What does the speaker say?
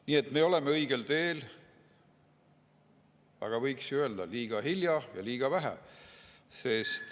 Nii et me oleme õigel teel, aga võiks ju öelda, et liiga hilja ja liiga vähe.